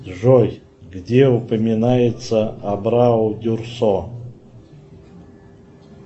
джой где упоминается абрау дюрсо